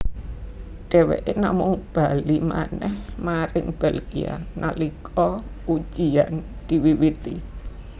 Dheweké namung bali manèh maring Belgia nalika ujiyan diwiwiti